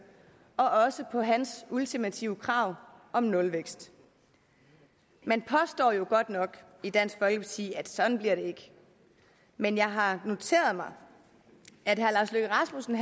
og også på hans ultimative krav om nulvækst man påstår jo godt nok i dansk folkeparti at sådan bliver det ikke men jeg har noteret mig at herre lars løkke rasmussen